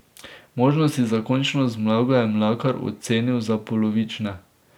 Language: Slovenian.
Možnosti za končno zmago je Mlakar ocenil za polovične.